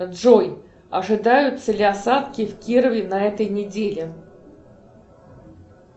джой ожидаются ли осадки в кирове на этой неделе